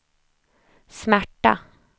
smärta